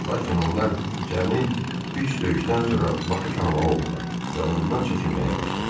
Lakin onlar cəmi üç döyüşdən sonra Bakı tanımalı oldular və ondan çəkinməyə başladılar.